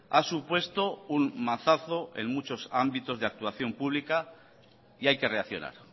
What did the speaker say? ha supuesto un mazazo en muchos ámbitos de actuación pública y hay que reaccionar